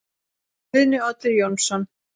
Guðni Oddur Jónsson